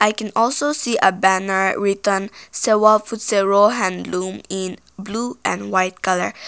we can also see a banner written sewa pfutsero handloom in blue and white colour.